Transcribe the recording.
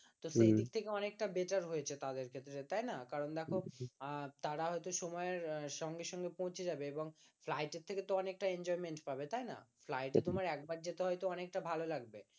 তো সেই দিক থেকে অনেক টা better হয়েছে তাদের ক্ষেত্রে তাই না কারণ দেখো আহ তারা হয়তো সময় এর সঙ্গে সঙ্গে পৌঁছে যাবে এবং ফ্লাইট এর থেকে তো অনেকটা enjoyment পাবে তাই না ফ্লাইটে তোমার একবার যেতে হয়তো অনেকটা ভালো লাগবে